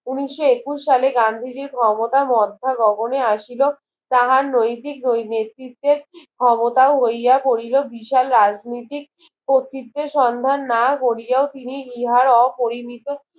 উনিশ একুশ সালে গান্ধীজির ক্ষমতা মধ্যা গগনে আসিল তাহার নৈতিক ওই নেতৃত্বের ক্ষমতা হইয়া পড়িল বিশাল রাজনীতিক ও ও চিত্রের সন্ধান না কোরিয়াও তিনি ইহার অপরিমিত